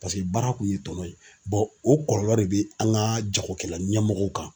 Paseke baara kun ye tɔnɔ ye o kɔlɔlɔ de bɛ an ka jagokɛla ɲɛmɔgɔw kan.